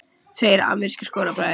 Tveir amerískir skólabræður